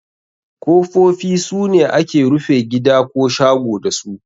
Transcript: Kofofi sune ake rufe gida ko shago dasu.